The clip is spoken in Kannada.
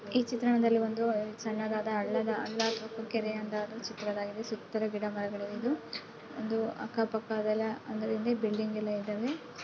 ಈ ಚಿತ್ರಣದಲ್ಲಿ ಒಂದು ಸಣ್ಣದಾದ ಹಳ್ಳದ ಹಳ್ಳ ಅಥವಾ ಕೆರೆ ಅದರ ಚಿತ್ರವಾಗಿದೆ ಸುತ್ತಲೂ ಗಿಡಮರಗಳಿವೆ. ಇದು ಒಂದು ಅಕ್ಕ ಪಕ್ಕ ಅದಲ್ಲ ಅದರ ಹಿಂದೆ ಬಿಲ್ಡಿಂಗ್ ಎಲ್ಲಾ ಇದಾವೆ.